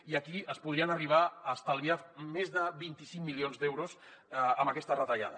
i aquí es podrien arribar a estalviar més de vint cinc milions d’euros amb aquesta retallada